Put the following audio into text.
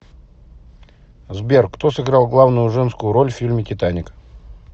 сбер кто сыграл главную женскую роль в фильме титаник